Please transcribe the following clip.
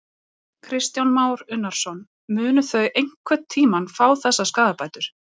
Kristján Már Unnarsson: Munu þau einhvern tímann fá þessar skaðabætur?